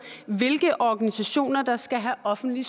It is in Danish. hvilke organisationer der skal have offentlig